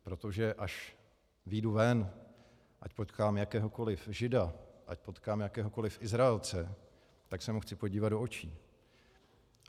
Protože až vyjdu ven, ať potkám jakéhokoli Žida, ať potkám jakéhokoli Izraelce, tak se mu chci podívat do očí.